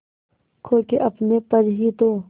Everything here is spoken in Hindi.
खो के अपने पर ही तो